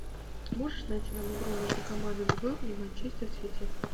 можешь найти нам игру между командами бернли и манчестер сити